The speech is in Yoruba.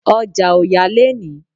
Ọjà ò yá léèní